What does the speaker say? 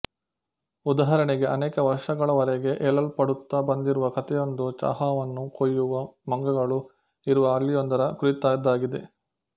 ಉದಾಹರಣೆಗೆ ಅನೇಕ ವರ್ಷಗಳವರೆಗೆ ಹೇಳಲ್ಪಡುತ್ತಾ ಬಂದಿರುವ ಕಥೆಯೊಂದು ಚಹಾವನ್ನು ಕೊಯ್ಯುವ ಮಂಗಗಳು ಇರುವ ಹಳ್ಳಿಯೊಂದರ ಕುರಿತದ್ದಾಗಿದೆ